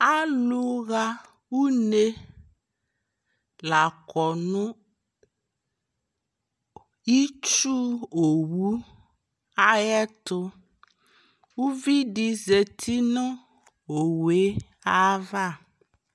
Alʋɣa une la kɔ nʋ itsu owu ayɛtʋ Uvi di zati nʋ owu e ava